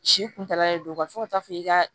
Si kuntaala de don fo ka taa fɔ i ka